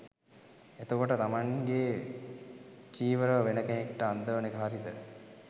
එතකොට තමන්ගේ චීවරව වෙන කෙනෙක්ට අන්දවන එක හරිද?